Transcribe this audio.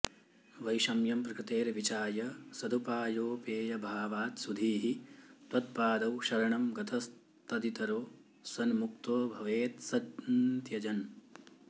वैषम्यं प्रकृतेर्विचाय सदुपायोपेयभावात् सुधीः त्वत्पादौ शरणं गतस्तदितरो सन्मुक्तो भवेत्सन्त्यजन्